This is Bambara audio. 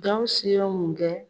Gawusu ye mun kɛ?